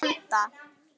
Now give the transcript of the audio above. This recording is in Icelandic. Að vanda.